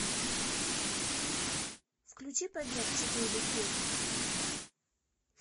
включи побег четыре кей